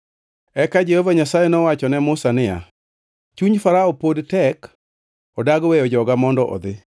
Eka Jehova Nyasaye nowacho ne Musa niya, “Chuny Farao pod tek, odagi weyo joga mondo odhi.